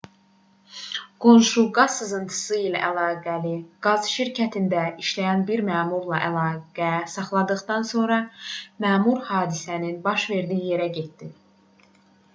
qonşu qaz sızıntısı ilə əlaqəli qaz şirkətində işləyən bir məmurla əlaqə saxladıqdan sonra məmur hadisənin baş verdiyi yerə getdi